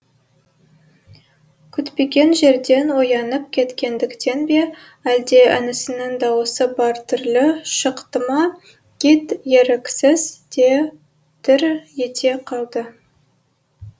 күтпеген жерден оянып кеткендіктен бе әлде інісінің дауысы бір түрлі шықты ма кит еріксіз де дір ете қалды